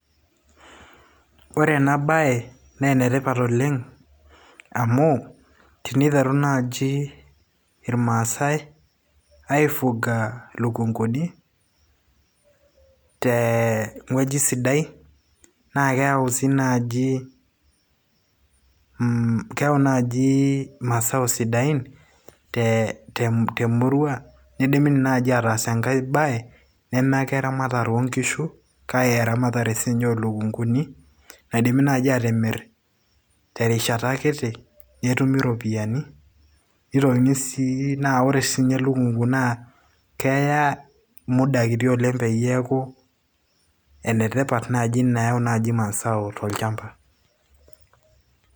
ore ena baye naa enetipat oleng amu teniteru naaji irmaasay aifuga ilukunguni teng'ueji sidai naa keyau sii naaji,,keyau naaji masao sidain temurua nindimidimi naaji ataas enkay baye neme ake eramatare oonkishu kake eramatare siininye oolukunguni naidimi naaji atimirr terishata kiti netumi iropiyiani nitokini sii naa ore siininye e lukungu naa keya muda kiti oleng peyie eeku enetipat naaji nayau naji masao tolchamba.